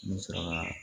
N bɛ sɔrɔ ka